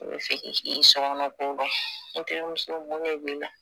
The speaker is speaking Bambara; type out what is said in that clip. N'o be fɛ k'i sɔgɔnɔkow dɔn e n terimuso mun de b'i la